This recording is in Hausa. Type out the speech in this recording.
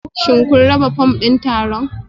Shin kun raba fom ɗin taron?